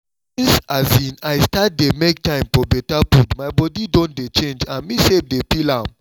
since i start dey make time for better food my body don dey change and me self dey feel am